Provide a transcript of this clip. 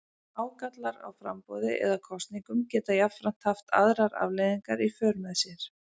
Ágallar á framboði eða kosningum geta jafnframt haft aðrar afleiðingar í för með sér.